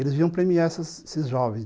Eles vinham premiar esses jovens.